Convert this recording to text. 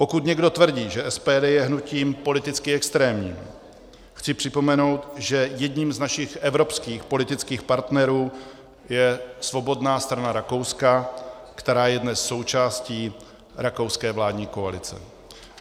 Pokud někdo tvrdí, že SPD je hnutím politicky extrémním, chci připomenout, že jedním z našich evropských politických partnerů je Svobodná strana Rakouska, která je dnes součástí rakouské vládní koalice.